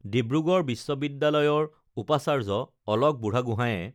ডিব্ৰুগড় বিশ্ববিদ্যালয়ৰ উপাচাৰ্য অলক বুঢ়াগোহাঁইয়ে